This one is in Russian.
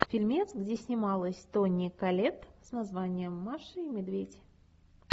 фильмец где снималась тони коллетт с названием маша и медведь